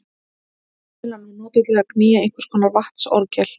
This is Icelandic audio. Vindmyllan var notuð til að knýja einhvers konar vatnsorgel.